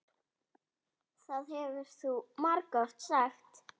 Það hefur þú margoft sagt.